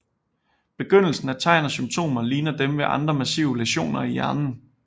Begyndelsen af tegn og symptomer ligner dem ved andre massive læsioner i hjernen